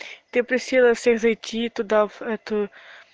ты просила всех зайти туда в эту